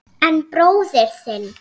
En bróðir þinn.